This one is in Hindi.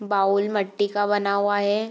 बाउल मिट्टी का बना हुआ है।